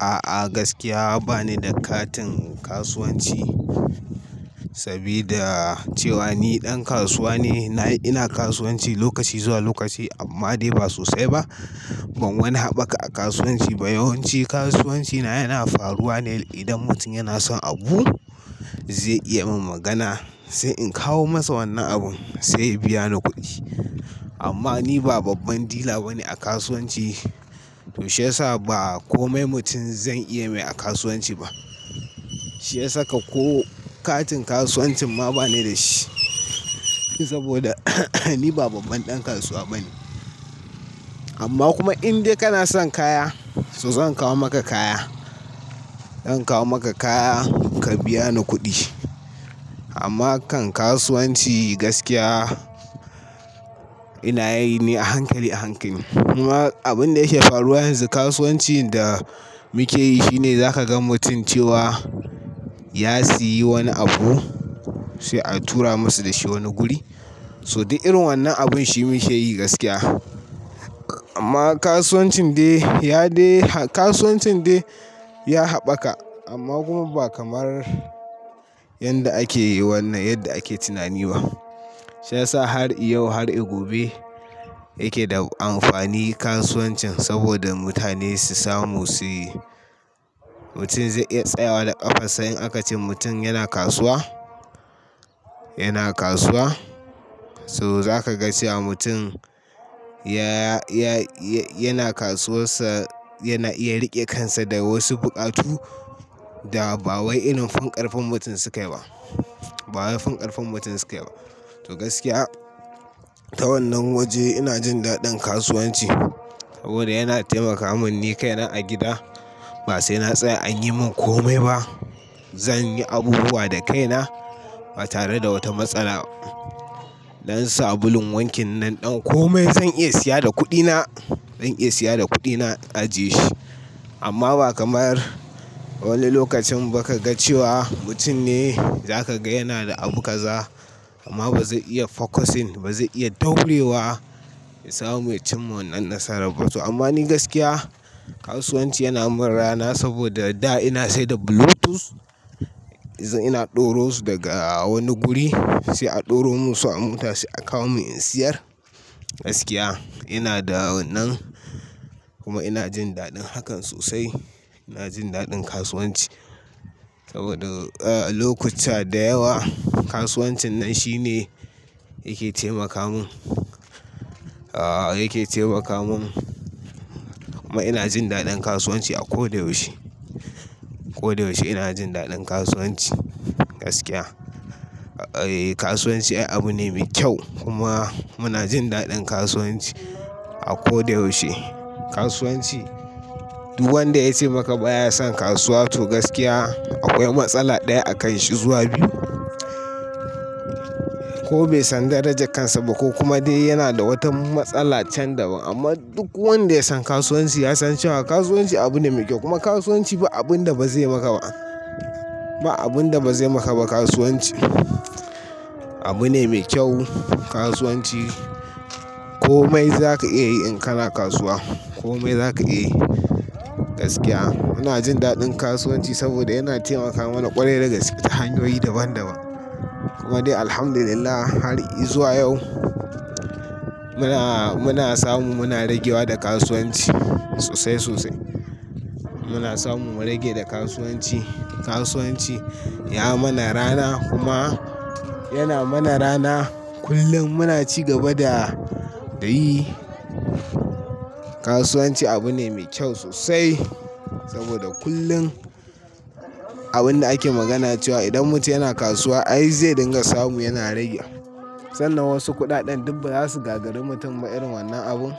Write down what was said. A'a gaskiya ba ni da katin kasuwanci, sabida cewa ni ɗan kasuwa ne. Na Ina kasuwanci lokaci zuwa lokaci amma dai ba sosai ba. Ban wani haɓaka a kasuwanci ba, yawanci kasuwanci na yana faruwa ne idan mutum yana son abu, zai iya min magana, sai in kawo masa wannan abin sai ya biya ni kuɗi. Amma ni ba babban dila bane a kasuwanci, to shiyasa ba komai mutum zan iya mai a kasuwanci ba. Shi ya saka ko katin kasuwancin ma ba ni da shi, saboda ni ba babban ɗan kasuwa bane. Amma kuma in dai kana son kaya, to zan kawo maka kaya. Zan kawo maka kaya ka biya ni kuɗi. Amma kan kasuwanci gaskiya ina yi ne a hankali a hankali. Kuma abin da yake faruwa yanzu kasuwancin da muke yi shine, zaka ga mutum cewa ya siyi wani abu, sai a tura masa dashi wani guri. So din irin wannan abun shi mu ke yi gaskiya. Amma kasuwancin dai, ya dai, kasuwancin dai ya haɓaka, amma kuma ba kamar yanda ake yi wannan yadda ake tunani ba. Shi yasa har yau har gobe yake da amfani kasuwancin saboda mutane su samu suyi. Mutum zai iya tsayawa da ƙafar sa in aka ce mutum yana kasuwa, yana kasuwa. So za ka ga cewa mutum yana kasuwas sa, yana iya riƙe kansa da wasu buƙatu da ba wai irin fin ƙarfin mutum sukayi ba. Ba wai fin ƙarfin mutum suke ba. To gaskiya ta wannan waje ina jin daɗin kasuwanci, saboda yana taimaka min ni kaina a gida ba sai na tsaya an yi min komai ba. Zan yi abubuwa da kaina ba tare da wata matsala. Dan sabulun wankin nan ɗan komai zan iya siya da kuɗina, zan iya siya da kuɗina ajiye shi. Amma ba kamar wani lokacin ba ka ga cewa mutum ne za ka ga yana da abu kaza amma ba zai iya focusing ba, ba zai iya daurewa ya samu ya cimma wannan nasara ba. To amma ni gaskiya kasuwanci yana mun rana saboda da ina sai da Bluetooth. Ina ɗoro su daga wani guri sai a ɗoro musu a mota sai a kawo mun in siyar. Gaskiya ina da wannan kuma ina jin daɗin hakan sosai. Ina jin daɗin kasuwanci saboda, lokuta da yawa kasuwancin nan shi ne yake taimaka mun. A, yake taimaka mun kuma ina jin daɗin kasuwanci a ko da yaushe. Ko da yaushe ina jin daɗin kasuwanci gaskiya. Eh, kasuwanci abu ne mai kyau, kuma muna jin daɗin kasuwanci a ko da yaushe. Kasuwanci duk wanda ya ce maka ba ya son kasuwa to gaskiya akwai matsala ɗaya a kan shi zuwa biyu. Ko bai san daranja kansa ba ko kuma dai yana da wata matsala chan daban. Amma duk wanda ya san kasuwanci ya san cewa kasuwanci abu ne mai kyau kuma kasuwanci ba abun da bazai maka ba. Ba abun da bazai maka ba kasuwanci. Abu ne mai kyau kasuwanci. Komai za ka iya yi in kana kasuwa, komai za ka iya yi gaskiya. Muna jin daɗin kasuwanci saboda yana taimaka mana ƙwarai da gaske ta hanyoyi daban daban. Kuma dai Alhamdulillah har izuwa yau, muna, muna samu muna ragewa da kasuwanci sosai sosai. Muna samu mu rage da kasuwanci. Kasuwanci ya mana rana, kuma yana mana rana kullum muna ci gaba da dai. Kasuwanci abu ne mai kyau sosai, saboda kullum abun da ake magana cewa idan mutum yana kasuwa ai zai dinga samu yana rage. Sannan wasu kuɗaɗen duk ba za su gagari mutum ba irin wannan abun.